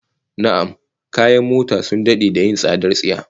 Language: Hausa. Na'am, kayan mota sun dade da yin tsadar tsiya